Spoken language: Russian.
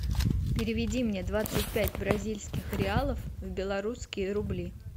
переведи мне двадцать пять бразильских реалов в белорусские рубли